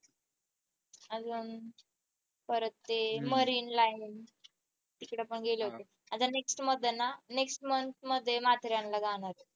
अजून परत ते marine line तिकडे पण गेले होते आता next मध्ये next month मध्ये माथेरान ला जाणार आहे.